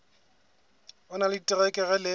o na le diterekere le